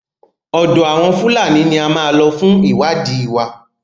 Ọ̀dọ àwọn Fúlàní ní a máa lọ fún ìwádìí wa.